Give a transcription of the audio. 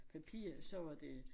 Papir så var det